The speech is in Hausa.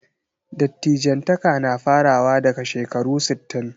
Dattijantaka na farawa daga shekaru sittin.